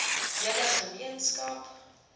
hele ge meenskap